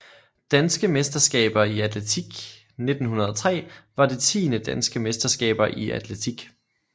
Danske mesterskaber i atletik 1903 var det tiende Danske mesterskaber i atletik